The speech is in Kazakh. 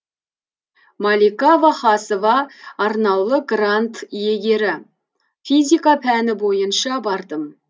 малика вахасова арнаулы грант иегері физика пәні бойынша бардым